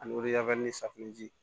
Ani safinɛji